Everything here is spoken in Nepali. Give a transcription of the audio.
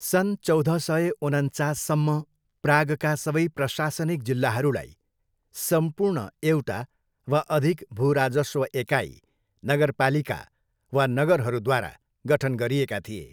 सन् चौध सय उनन्चाससम्म, प्रागका सबै प्रशासनिक जिल्लाहरूलाई सम्पूर्ण एउटा वा अधिक भूराजस्व एकाइ, नगरपालिका वा नगरहरूद्वारा गठन गरिएका थिए।